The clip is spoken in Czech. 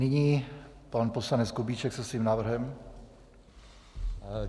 Nyní pan poslanec Kubíček se svým návrhem.